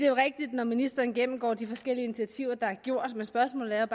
jo rigtigt når ministeren gennemgår de forskellige initiativer der er gjort men spørgsmålet